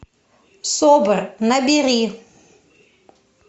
собр набери